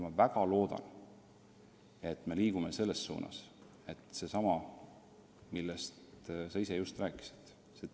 Ma väga loodan, et me liigume selles suunas, et käivitub dialoog, millest ka sina just rääkisid.